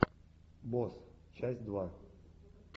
босс часть два